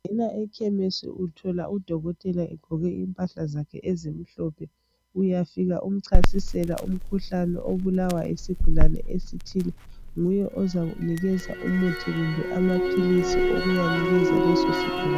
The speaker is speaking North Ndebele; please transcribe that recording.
Ekhemisi uthola udokotela egqoke impahla zakhe ezimhlophe. Uyafika umchasisela umkhuhlane obulawa yisigulane esithile..Nguye ozakunika umuthi kumbe amaphilisi okuyanikeza leso sigulane.